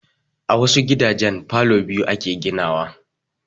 A wasu gidajen falo biyu ake ginawa